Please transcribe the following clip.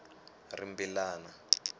rimbilana